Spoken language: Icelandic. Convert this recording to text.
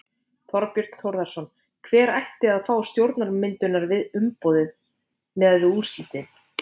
Þorbjörn Þórðarson: Hver ætti að fá stjórnarmyndunarumboðið miðað við úrslitin?